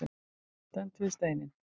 Stendur við steininn.